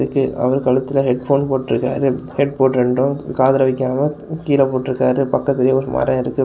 இது அவர் கழுத்துல ஹெட்போன் போட்டு இருக்காரு ஹெட்போன் ரெண்டும் காதுல வைக்காம கீழ போட்டு இருக்காரு பக்கத்திலேயே ஒரு மரம் இருக்கு.